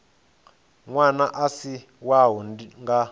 ṅwana a si wau nga